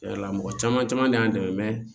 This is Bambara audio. Cɛn yɛrɛ la mɔgɔ caman caman de y'an dɛmɛ